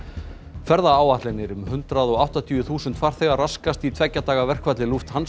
ferðaáætlanir um hundrað og áttatíu þúsund farþega raskast í tveggja daga verkfalli